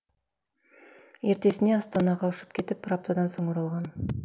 ертесіне астанаға ұшып кетіп бір аптадан соң оралған